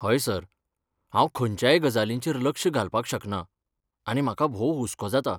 हय सर, हांव खंयच्याय गजालींचेर लक्ष घालपाक शकना, आनी म्हाका भोव हुस्को जाता.